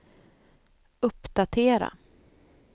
uppdatera